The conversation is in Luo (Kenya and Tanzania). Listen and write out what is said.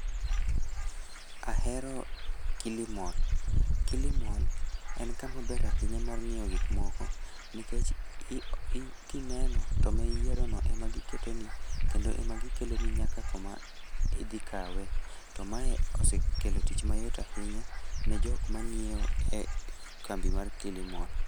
Ahero Kilimall. Kilimall, en kamaber ahinya mar ng'iewo gik moko, nikech i i kineno, to ma iyierono ema giketoni, kendo ema gikeloni nyaka koma, idhikawe. To mae osekelo tich mayot ahinya ne jok ma nyiewo e kambi mar Kilimall